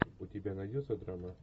у тебя найдется драма